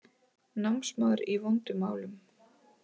Námsmaður í vondum málum